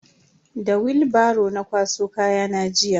Da willbaro na kwaso kayana jiya.